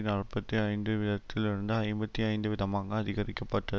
நாற்பத்தி ஐந்து வீதத்தில் இருந்து ஐம்பத்தி ஐந்து வீதமாக அதிகரிக்கப்பட்ட